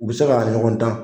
U bɛ se ka ɲɔgɔn tan.